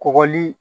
Kɔgɔli